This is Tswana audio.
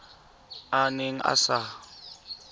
a a neng a sa